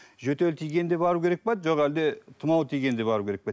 жөтел тигенде бару керек пе жоқ әлде тұмау тигенде бару керек пе